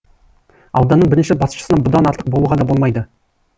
ауданның бірінші басшысына бұдан артық болуға да болмайды